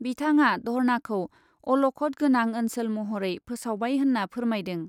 बिथाङा धर्नाखौ अलख'द गोनां ओनसोल महरै फोसावबाय होन्ना फोरमायदों।